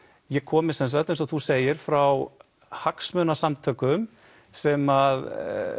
ég komi sem sagt eins og þú segir frá hagsmunasamtökum sem